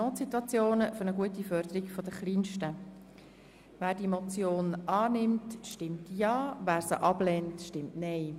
Wer diese Motion annimmt, stimmt Ja, wer sie ablehnt, stimmt Nein.